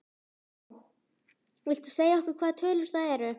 Jón: Viltu segja okkur hvaða tölur það eru?